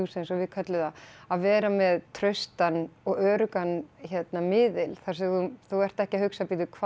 eins og við köllum það að vera með traustan og öruggan miðil þar sem þú ert ekki að hugsa